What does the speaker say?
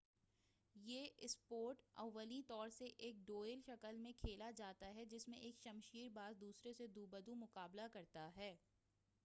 یہ اسپورٹ اولیں طور سے ایک ڈوئل کی شکل میں کھیلا جاتا ہے جس میں ایک شمشیر باز دوسرے سے دو بدو مقابلہ کرتا ہے